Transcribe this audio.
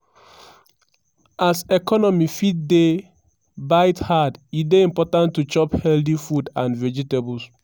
as economy fit dey bite hard e dey important to chop healthy food and vegetables.